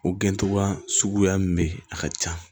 O gɛncogoya suguya min bɛ ye a ka ca